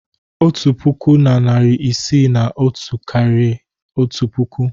Otu puku na narị isii na otu karịrị otu puku.